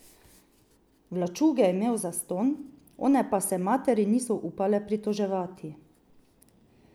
Vlačuge je imel zastonj, one pa se materi niso upale pritoževati.